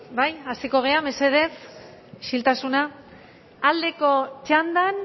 hasiko gara mesedez isiltasuna aldeko txandan